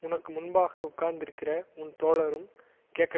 உனக்கு முன்பாக உட்கார்ந்திருக்கிற உன் தோழரும் கேட்க